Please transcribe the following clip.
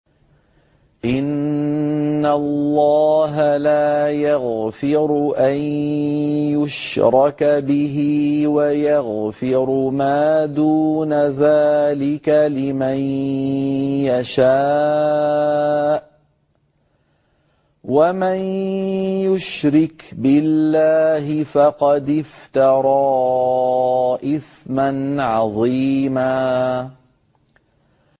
إِنَّ اللَّهَ لَا يَغْفِرُ أَن يُشْرَكَ بِهِ وَيَغْفِرُ مَا دُونَ ذَٰلِكَ لِمَن يَشَاءُ ۚ وَمَن يُشْرِكْ بِاللَّهِ فَقَدِ افْتَرَىٰ إِثْمًا عَظِيمًا